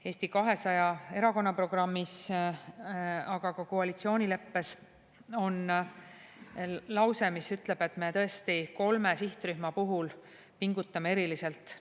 Eesti 200 erakonna programmis, aga ka koalitsioonileppes on lause, mis ütleb, et me kolme sihtrühma puhul pingutame eriliselt.